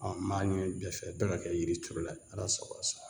m'a ɲini bɛɛ fɛ bɛɛ ka kɛ yiri turula ye. Ala sago a' sa